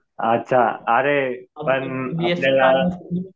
अच्छा. अरे पण आपल्याला